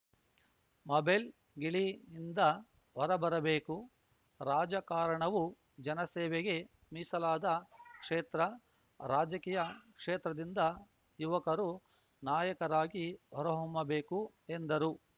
mobile ಗಿಳಿನಿಂದ ಹೊರಬರಬೇಕು ರಾಜಕಾರಣವೂ ಜನಸೇವೆಗೆ ಮೀಸಲಾದ ಕ್ಷೇತ್ರ ರಾಜಕೀಯ ಕ್ಷೇತ್ರದಿಂದ ಯುವಕರು ನಾಯಕರಾಗಿ ಹೊರಹೊಮ್ಮಬೇಕು ಎಂದರು